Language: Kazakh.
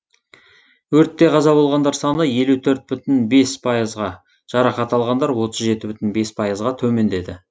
өрттен қаза болғандар саны елу төрт бүтін бес пайызға жарақат алғандар отыз жеті бүтін бес пайызға төмендеді